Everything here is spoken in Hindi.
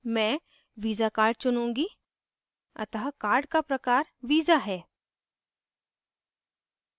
मैं visa visa card चुनुँगी अतः card का प्रकार visa visa है